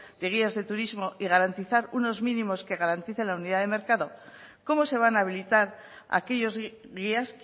de guías de turismo y garantizar unos mínimos que garanticen la unidad de mercado cómo se van a habilitar aquellos guías